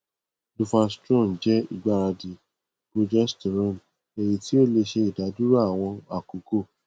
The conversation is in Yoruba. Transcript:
duphastrone jẹ igbaradi progesterone eyiti o le ṣe idaduro awọn akoko